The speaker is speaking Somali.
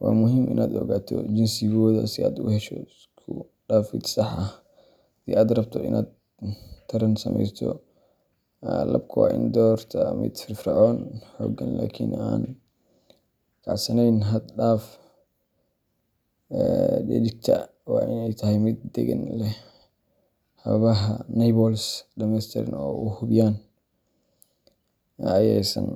waa muhiim inaad ogaato jinsigooda si aad u hesho isku-dhafid sax ah haddii aad rabto inaad taran sameyso. Labka waa in la doortaa mid firfircoon, xooggan, laakiin aan kacsaneyn xad-dhaaf ah. Dhedigta waa in ay tahay mid deggan, leh xabadaha nipples dhammeystiran, oo la hubiyey in aysan.